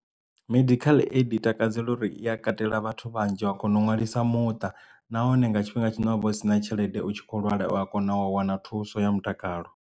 Medical aid i takadzela uri i katela vhathu vhanzhi wa kona u nwalisa muṱa nahone nga tshifhinga tshine ha vha hu sina tshelede u tshi kho lwala u a kona u wana thuso ya mutakalo.